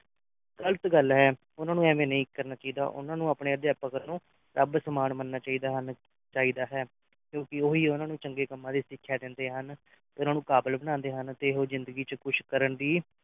ਗਲਤ ਗੱਲ ਹੈ ਉਨ੍ਹਾਂ ਨੂੰ ਇਵੇਂ ਨਹੀਂ ਕਰਨਾ ਚਾਹੀਦਾ ਉਨ੍ਹਾਂ ਨੂੰ ਆਪਣੇ ਅਧਿਆਪਕ ਨੂੰ ਰੱਬ ਸਮਾਨ ਮੰਨਣਾ ਚਾਹੀਦਾ ਹਨ ਚਾਹੀਦਾ ਹੈ ਕਿਉਂਕਿ ਉਹ ਹੀ ਉਨ੍ਹਾਂ ਨੂੰ ਚੰਗੇ ਕੰਮਾਂ ਦੀ ਸਿੱਖਿਆ ਦਿੰਦੇ ਹਨ ਫਿਰ ਉਨ੍ਹਾਂ ਨੂੰ ਕਾਬਲ ਬਣਾਉਂਦੇ ਹਨ ਤੇ ਇਹੋ ਜਿੰਦਗੀ ਦੇ ਵਿੱਚ ਕੁਝ ਕਰਨ ਦੀ